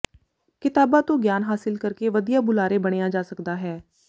ਕਿਤਾਬਾਂ ਤੋਂ ਗਿਆਨ ਹਾਸਲ ਕਰਕੇ ਵਧੀਆ ਬੁਲਾਰੇ ਬਣਿਆ ਜਾ ਸਕਦਾ ਹੈ